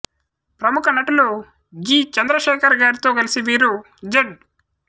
ప్రముఖ నటులు జి చంద్ర శేఖర్ గారితో కలసి వీరు జెడ్